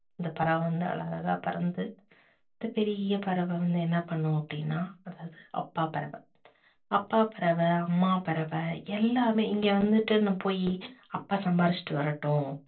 அந்தப் பறவை வந்து அழகழகா பறந்து இந்த பெரிய பறவை வந்து என்ன பண்ணும் அப்படின்னா அப்பா பறவை அப்பா பறவை, அம்மா பறவை எல்லாமே இங்க வந்துட்டு போயி அப்பா சம்பாசிட்டு வரட்டோம்